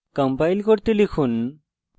compile করতে লিখুন